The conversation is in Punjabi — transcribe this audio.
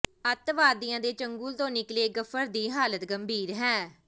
ਅੱਤਵਾਦੀਆਂ ਦੇ ਚੰਗੁਲ ਤੋਂ ਨਿਕਲੇ ਗਫਰ ਦੀ ਹਾਲਤ ਗੰਭੀਰ ਹੈ